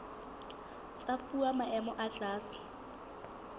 tsa fuwa maemo a tlase